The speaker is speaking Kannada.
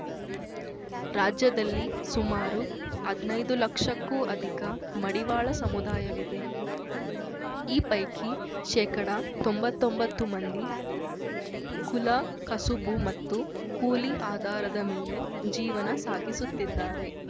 ರಾಜ್ಯದಲ್ಲಿ ಸುಮಾರು ಹದ್ನೈದು ಲಕ್ಷಕ್ಕೂ ಅಧಿಕ ಮಡಿವಾಳ ಸಮುದಾಯವಿದೆ ಈ ಪೈಕಿ ಶೇಕಡತೊಂಬತ್ತೊಂಬತ್ತು ಮಂದಿ ಕುಲ ಕಸುಬು ಮತ್ತು ಕೂಲಿ ಆಧಾರದ ಮೇಲೆ ಜೀವನ ಸಾಗಿಸುತ್ತಿದ್ದಾರೆ